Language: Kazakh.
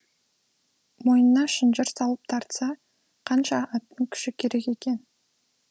мойнына шынжыр салып тартса қанша аттың күші керек екен